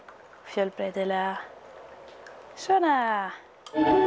fjölbreytilega svona